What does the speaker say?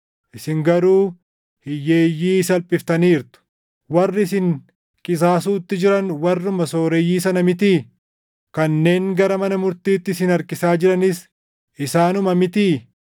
Isin garuu hiyyeeyyii salphiftaniirtu. Warri isin qisaasuutti jiran warruma sooreyyii sana mitii? Kanneen gara mana murtiitti isin harkisaa jiranis isaanuma mitii?